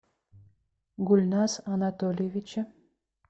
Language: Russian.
гульназ анатольевиче